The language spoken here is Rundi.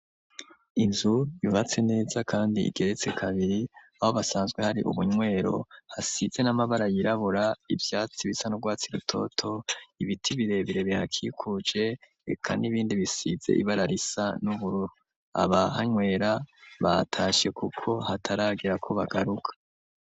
Inzu bibatse neza, kandi igeretse kabiri abo basanzwe hari ubunywero hasize n'amabara yirabura ivyatsi bisa n'urwatsi rutoto ibiti birebere byakikuje eka n'ibindi bisize ibararisa n'ubururu aba hanywera batashe, kuko hataragira ko bagaruka.